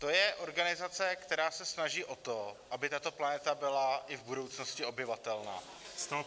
To je organizace, která se snaží o to, aby tato planeta byla i v budoucnosti obyvatelná.